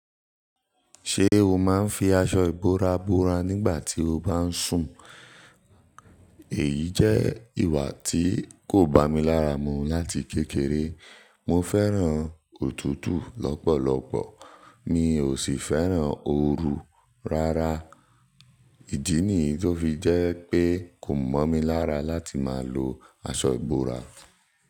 Ṣé o máa ń fi aṣọ ìbora bora nígbà tí o bá ń sùn? Èyí jẹ́ ìwà tí kò bámi lára mu láti kékeré. Mo fẹ́ràn òtútù lọ́pọ̀lọpọ̀ mi ò sì fẹ́ràn ooru rárá. Ìdí nìyí tó fi jẹ́ pé kò mọ́ mi lára láti máa lo aṣọ ìbora.